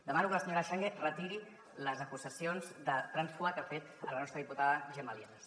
demano que la senyora changue retiri les acusacions de trànsfuga que ha fet a la nostra diputada gemma lienas